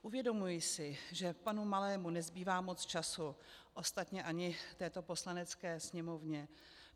Uvědomuji si, že panu Malému nezbývá moc času, ostatně ani této Poslanecké sněmovně.